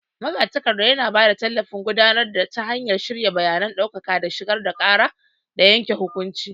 Magatakarda yana ba da tallafin gudanarwa ta hanyar shirya bayanan ɗaukaka da shigar da ƙara da yanke hukunci.